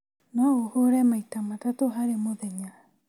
No ũhũre maita matatũ harĩ mũthenya